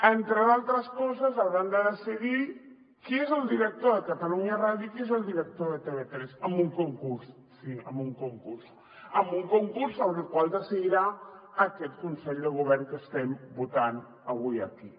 entre d’altres coses hauran de decidir qui és el director de catalunya ràdio i qui és el director de tv3 amb un concurs sí amb un concurs amb un concurs sobre el qual decidirà aquest consell de govern que estem votant avui aquí